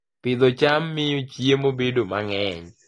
Pidho cham miyo chiemo bedo mang'eny